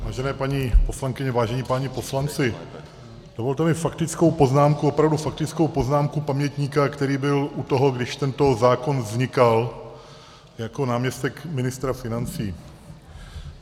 Vážené paní poslankyně, vážení páni poslanci, dovolte mi faktickou poznámku, opravdu faktickou poznámku pamětníka, který byl u toho, když tento zákon vznikal, jako náměstek ministra financí.